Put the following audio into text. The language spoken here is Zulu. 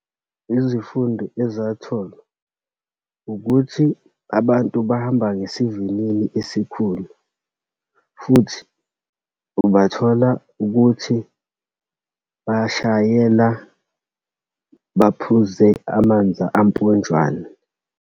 Izifundo ezatholwa, ukuthi abantu bahamba ngesivinini esikhulu, futhi ubathola ukuthi bashayela baphuze amanzi amponjwane.